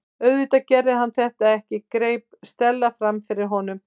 Auðvitað gerði hann þetta ekki- greip Stella fram í fyrir honum.